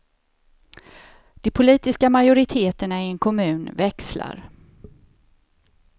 De politiska majoriteterna i en kommun växlar.